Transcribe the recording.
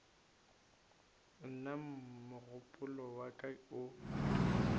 nna mogopolo wa ka o